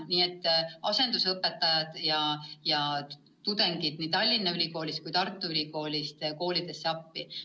Nii et asendusõpetajad ja tudengid nii Tallinna Ülikoolist kui ka Tartu Ülikoolist lähevad koolidesse appi.